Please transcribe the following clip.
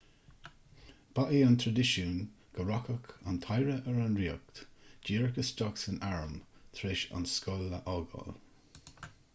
ba é an traidisiún go rachadh an t-oidhre ar an ríocht díreach isteach san arm tar éis an scoil a fhágáil